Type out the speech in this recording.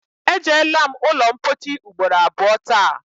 E jeela m ụlọmpochi ugboro atọ taa